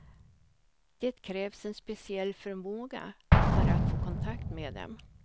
Det krävs en speciell förmåga för att få kontakt med dem.